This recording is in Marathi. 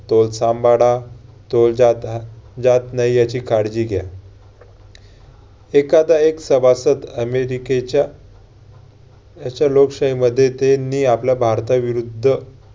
तोल सांभाळा, तोल जाता~ जात नाही ह्याची काळजी घ्या. एखादा एक सभासद अमेरिकेच्या त्याचा लोकशाहीमध्ये त्यांनी आपल्या भारता विरुद्ध